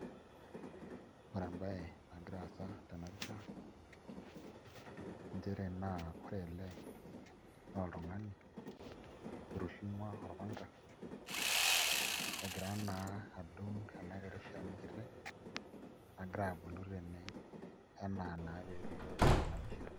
Ore embae nagira aasa tebapisha chere ore ele na oltungani ailepie orpanga egirana adung enakiti shani kiti nagira abulu tene ana na pelio tenapisha